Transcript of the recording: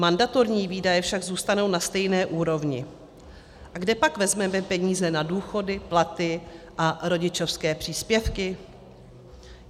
Mandatorní výdaje však zůstanou na stejné úrovni - kde pak vezmeme peníze na důchody, platy a rodičovské příspěvky?